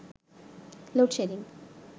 load shedding